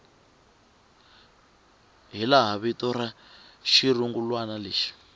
hilaha vito ra xirungulwana lexi